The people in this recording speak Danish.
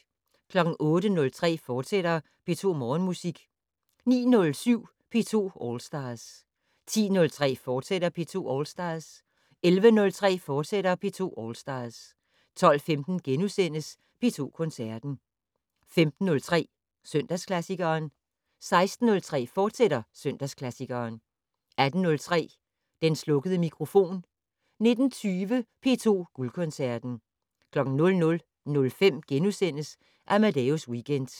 08:03: P2 Morgenmusik, fortsat 09:07: P2 All Stars 10:03: P2 All Stars, fortsat 11:03: P2 All Stars, fortsat 12:15: P2 Koncerten * 15:03: Søndagsklassikeren 16:03: Søndagsklassikeren, fortsat 18:03: Den slukkede mikrofon 19:20: P2 Guldkoncerten 00:05: Amadeus Weekend *